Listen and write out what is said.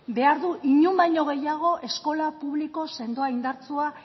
behar du inon baino gehiago eskola publiko sendoa indartsua